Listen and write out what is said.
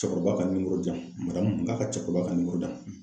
Cɛkɔrɔba ka di yan . n k'a ka cɛkɔrɔba ka di yan.